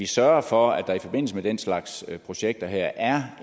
sørger for at der i forbindelse med den slags projekter her er